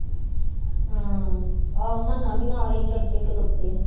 ਹਾਂ ਆਹੋ ਮੰਨਾ ਵੀ ਨਾਲ ਹੀ ਸਿਰ ਤੇ ਖਲੋਤੇ